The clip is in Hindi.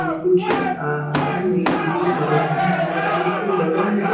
कुछ आ आदमी बी खड़े हैं और उसके बगल में --